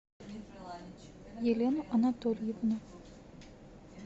елену анатольевну